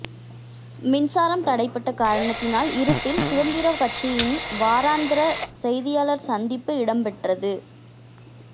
மின்சாரம் தடைபட்ட காரணத்தினால் இருட்டில் சுதந்திர கட்சியின் வாராந்த செய்தியாளர் சந்திப்பு இடம்பெற்றது